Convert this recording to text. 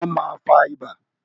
Ẹ̀fọn ma fa ibà.